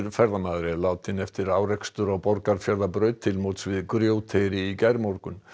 ferðamaður er látinn eftir árekstur á Borgarfjarðarbraut til móts við Grjóteyri í gærmorgun